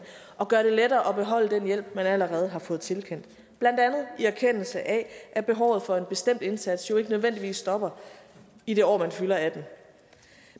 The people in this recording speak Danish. og gøre det lettere at beholde den hjælp man allerede har fået tilkendt i erkendelse af at behovet for en bestemt indsats jo ikke nødvendigvis stopper i det år man fylder atten